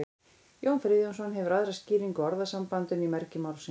jón friðjónsson hefur aðra skýringu á orðasambandinu í mergi málsins